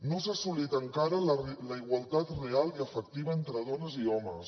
no s’ha assolit encara la igualtat real i efectiva entre dones i homes